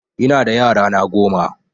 Ina da yara na goma